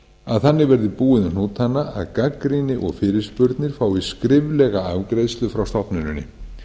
að þannig verði búið um hnútana að gagnrýni og fyrirspurnir fái skriflega afgreiðslu frá stofnuninni